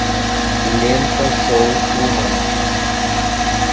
лента шоу трумана